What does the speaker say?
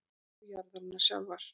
og jarðarinnar sjálfrar.